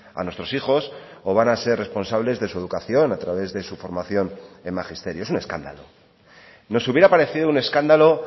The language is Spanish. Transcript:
a nuestros hijos o van a ser responsables de su educación a través de su formación en magisterio es un escándalo nos hubiera parecido un escándalo